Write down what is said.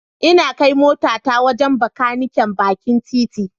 Ina kai motata wajen Bakaniken bakin titi.